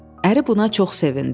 Əri buna çox sevindi.